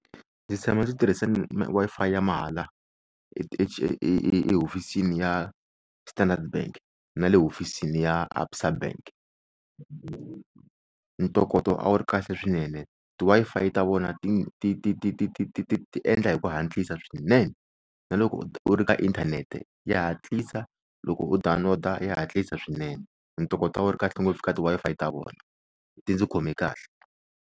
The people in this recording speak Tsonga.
Ndzi tshama ndzi tirhisa Wi-Fi ya mahala ehofisini ya Standard Bank na le hofisini ya ABSA Bank ntokoto a wu ri kahle swinene ti-Wi-Fi ta vona ti ti ti ti ti endla hi ku hatlisa swinene na loko u ri ka inthanete ya hatlisa loko u download-a ya hatlisa swinene ntokota a wu ri kahle ngopfu eka ti-Wi-Fi ta vona ti ndzi khome kahle.